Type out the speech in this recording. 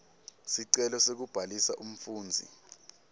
sicelo sekubhalisa umfundzi